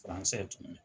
tun ye